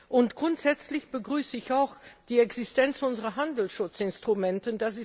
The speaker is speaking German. Und grundsätzlich begrüße ich auch die Existenz unserer Handelsschutzinstrumente.